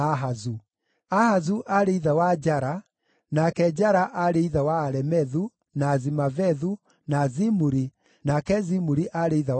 Ahazu aarĩ ithe wa Jara, nake Jara aarĩ ithe wa Alemethu, na Azimavethu, na Zimuri, nake Zimuri aarĩ ithe wa Moza.